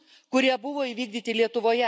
kurie buvo įvykdyti Lietuvoje.